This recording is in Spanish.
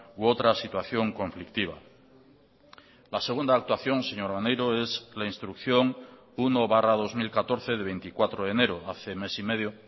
u otra situación conflictiva la segunda actuación señor maneiro es la instrucción uno barra dos mil catorce de veinticuatro de enero hace mes y medio